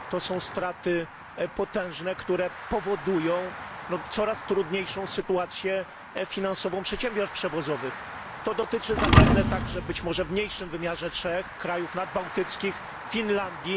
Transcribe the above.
To są straty potężne, które powodują coraz trudniejszą sytuację finansową przedsiębiorstw przewozowych. To dotyczy zapewne także być może w mniejszym wymiarze Czech, krajów nadbałtyckich, Finlandii.